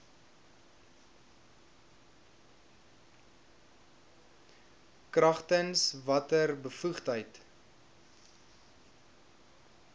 kragtens watter bevoegdheid